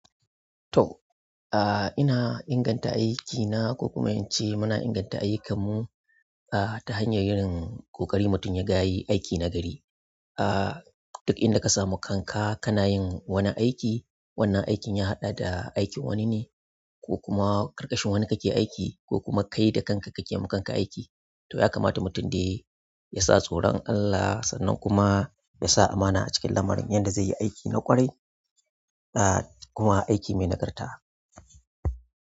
To, ina inganta aiki na ko kuma in ce muna inganta ayyukan mu ta hanyar yin ƙoƙari mutum ya ga ya yi aiki na gari a duk inda ka samu kanka kana yin wani aiki, wannan aikin ya haɗa da aikin wani ne ko kuma ƙarƙashin wani kake aiki ko kuma kai da kanka kake ma kanka aiki. To, ya kamata mutum dai yasa tsoron Allah sannan kuma yasa amana a cikin lamarin yadda zai yi aiki na ƙwarai, kuma aiki mai nagarta.